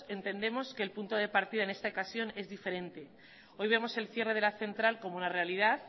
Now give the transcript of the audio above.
entendemos que el punto de partida en esta ocasión es diferente hoy vemos el cierre de la central como una realidad